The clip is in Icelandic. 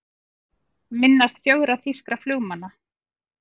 Minnast fjögurra þýskra flugmanna